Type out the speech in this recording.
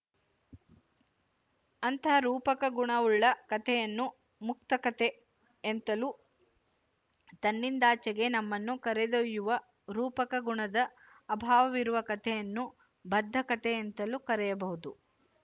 ಅಂಥ ರೂಪಕ ಗುಣವುಳ್ಳ ಕಥೆಯನ್ನು ಮುಕ್ತಕಥೆ ಎಂತಲೂ ತನ್ನಿಂದಾಚೆಗೆ ನಮ್ಮನ್ನು ಕರೆದೊಯ್ಯುವ ರೂಪಕ ಗುಣದ ಅಭಾವವಿರುವ ಕಥೆಯನ್ನು ಬದ್ಧಕಥೆ ಎಂತಲೂ ಕರೆಯಬಹುದು